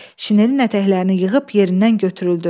Şinelinin ətəklərini yığıb yerindən götürüldü.